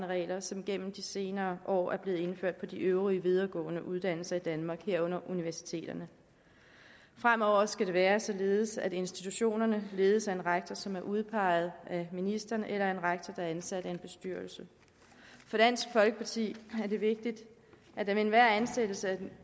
regler som gennem de senere år er blevet indført på de øvrige videregående uddannelser i danmark herunder på universiteterne fremover skal det være således at institutionerne ledes af en rektor som er udpeget af ministeren eller en rektor som er ansat af en bestyrelse for dansk folkeparti er det vigtigt at der ved enhver ansættelse